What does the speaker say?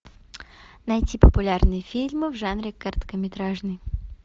найти популярные фильмы в жанре короткометражный